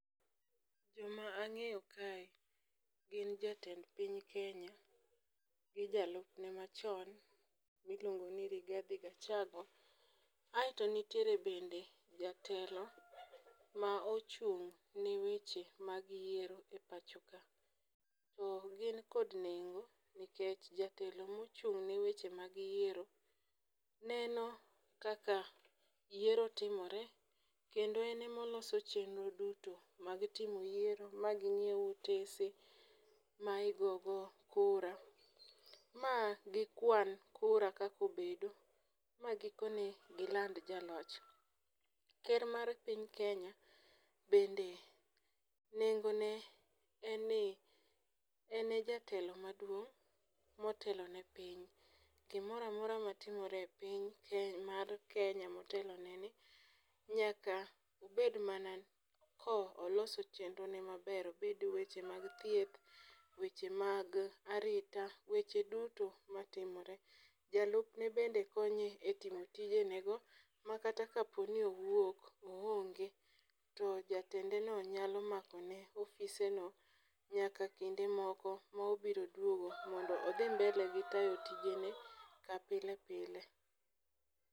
Joma ang'eyo kae gin jatend piny kenya gi jalupne machon miluongo ni Rigathi Gachagua. Aeto nitiere bende jatelo ma ochung' ne weche mag yiero e pacho ka .To gin kod nengo nikech jatelo mochung' ne weche mag yiero neno kaka yiero timore kendo en emoloso chenro duto mag timo yiero ma gi nyiew otese ma igogo kura, ma gikwan kura kakobedo ma gikone gilanda jaloch. Ker mar piny kenya bende nengo ne en ni en e jatelo maduong' motelo ne piny .Gimoramora matimore e piny ken mar kenya motelo ne ni nyako bed mana koloso chenro ne maber obed weche mag thieth, weche mag arita weche duto matimore. Jalupne bende konye e timo tijene go makata kapo ni owuok oongge to jatende nyalo mako ne ofisne no nyaka kinde moko mobiro duogo mondo odhi mbele gi tayo tijene ka pilepile.